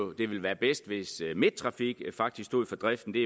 det ville være bedst hvis midttrafik faktisk stod for driften det